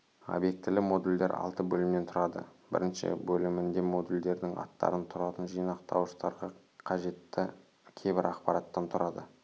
обьектілі модульдер алты бөлімнен тұрады бірінші бөлімінде модульдердің аттарынан тұратын жинақтауыштарға қажетті кейбір ақпараттан тұрады